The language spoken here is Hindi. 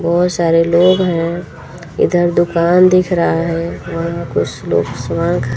बहुत सारे लोग हैं इधर दुकान दिख रहा है हम कुछ लोग